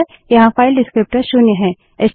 यहाँ file descriptor विवरणक शून्य है